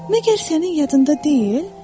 Məgər sənin yadında deyil?